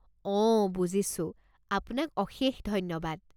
অঁ, বুজিছোঁ। আপোনাক অশেষ ধন্যবাদ।